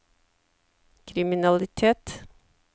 kriminalitet